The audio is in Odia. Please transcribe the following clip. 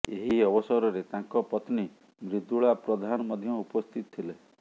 ଏହି ଅବସରରେ ତାଙ୍କ ପତ୍ନୀ ମ୍ରିଦୁଳା ପ୍ରଧାନ ମଧ୍ୟ ଉପସ୍ଥିତ ଥିଲେ